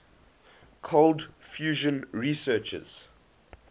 cold fusion researchers